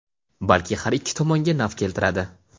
balki har ikki tomonga naf keltiradi.